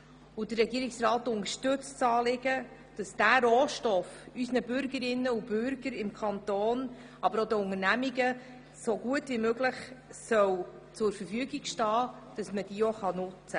Der Regierungsrat unterstützt das Anliegen, dass dieser Rohstoff unseren Bürgerinnen und Bürgern im Kanton aber auch den Unternehmungen so gut wie möglich zur Verfügung stehen soll.